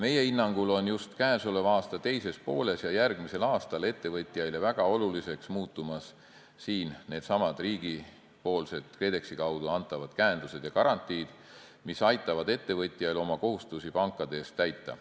Meie hinnangul on just käesoleva aasta teises pooles ja järgmisel aastal ettevõtjaile väga oluliseks muutumas needsamad riigipoolsed KredExi kaudu antavad käendused ja garantiid, mis aitavad ettevõtjail oma kohustusi pankade ees täita.